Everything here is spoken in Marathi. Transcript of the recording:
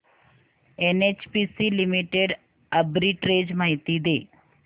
एनएचपीसी लिमिटेड आर्बिट्रेज माहिती दे